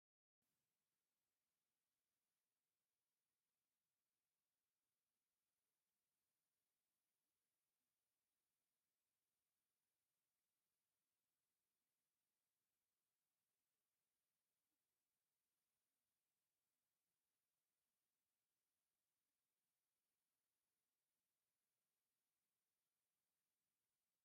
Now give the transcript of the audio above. ብዙሓት ሰባት ኣብ ጥቓ ሓደ ሩባ ተኣኪቦም ኣለዉ። እቲማይ ቁሩብ ድብዝዝ ዝበለ ኮይኑ፣ ምትሕውዋስ ተፈጥሮን ጽባቐ ደቂ ሰባትን እዩ። ብዙሓት ሰባት ኣብ በሪኽ ጎቦ ደው ኢሎም ይዕዘቡ ኣለዉ። ህዝባዊ ምትእምማንን ማዕርነትን ዝሰፍነሉ ናይ ሓጎስን ተፈጥሮኣዊ ወለዶን ኣየር ኣሎ።